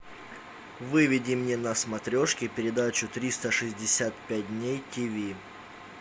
выведи мне на смотрешке передачу триста шестьдесят пять дней тв